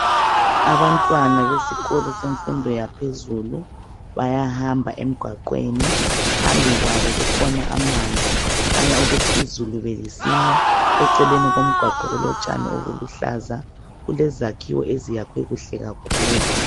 Abantwana besikolo semfundo yaphezulu bayahamba emgwaqweni. Phambi kwabo kukhona amanzi. Khanya ukuthi izulu belisina. Eceleni komgwaqo kulotshani obuluhlaza. Kulezakhiwo eziyakhwe kuhle kakhulu.